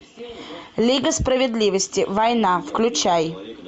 лига справедливости война включай